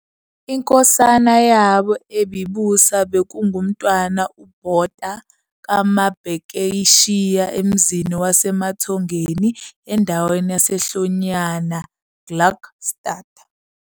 INkosana yabo ebibusa bekunguMntwana uBhota kaMabhekeshiya emzini waseMathongeni endaweni yaseHlonyana, Gluckstadt,